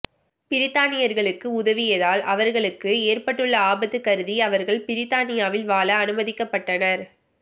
பிரித்தானியர்களுக்கு உதவியதால் அவர்களுக்கு ஏற்பட்டுள்ள ஆபத்து கருதி அவர்கள் பிரித்தானியாவில் வாழ அனுமதிக்கப்பட்டனர்